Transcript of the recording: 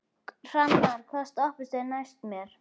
Hrannar, hvaða stoppistöð er næst mér?